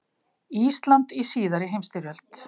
Ísland í síðari heimsstyrjöld.